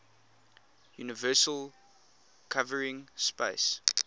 universal covering space